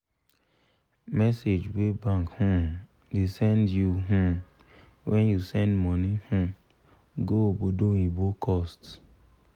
message wey bank um da send you you um when you send money um go obodoyibo cost